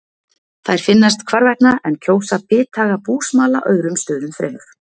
Þær finnast hvarvetna en kjósa bithaga búsmala öðrum stöðum fremur.